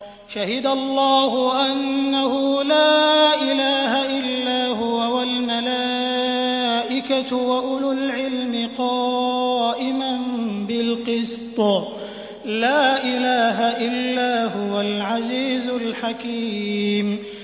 شَهِدَ اللَّهُ أَنَّهُ لَا إِلَٰهَ إِلَّا هُوَ وَالْمَلَائِكَةُ وَأُولُو الْعِلْمِ قَائِمًا بِالْقِسْطِ ۚ لَا إِلَٰهَ إِلَّا هُوَ الْعَزِيزُ الْحَكِيمُ